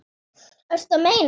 Ertu að meina.?